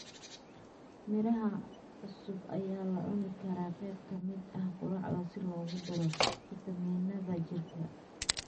Miraha cusub ayaa la cuni karaa qeyb ka mid ah quraacda si loogu daro fitamiinada jirka.